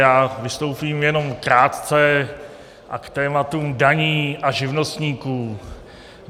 Já vystoupím jenom krátce, a to tématu daní a živnostníků.